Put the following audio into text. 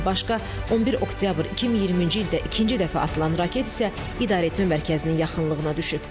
Bundan başqa, 11 oktyabr 2020-ci ildə ikinci dəfə atılan raket isə idarəetmə mərkəzinin yaxınlığına düşüb.